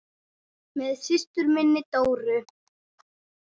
Með systur minni, Dóru.